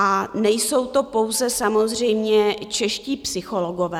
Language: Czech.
A nejsou to pouze samozřejmě čeští psychologové.